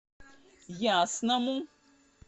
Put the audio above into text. ясному